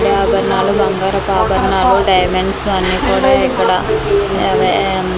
యాభరణాలు బంగారపు ఆభరణాలు డైమండ్స్ అన్నీ కూడా ఇక్కడ అవే మ్మ్.